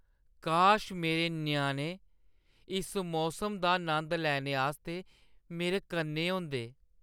काश मेरे ञ्याणे इस मौसम दा नंद लैने आस्तै मेरे कन्नै होंदे!